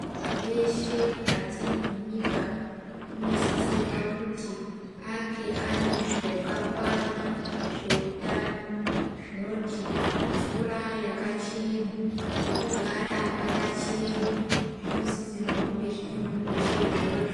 Muntu weshe mukati menyika anosisirwa kuti ange ane zvakakwana zvehutano zvinoti mvura yakachena pekugara pakachena zvinosisirwa kunge zvine muntu weshe izvozvo.